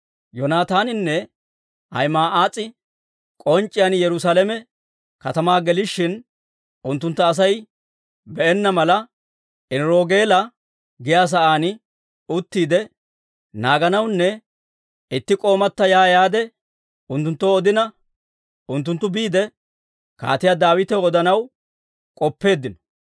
Yoonataaninne Ahima'aas'i k'onc'c'iyaan Yerusaalame katamaa gelishin unttuntta Asay be'enna mala, Eniroogeela giyaa sa'aan uttiide naaganawunne itti k'oomata ya yaade unttunttoo odina, unttunttu biide Kaatiyaa Daawitaw odanaw k'oppeeddino.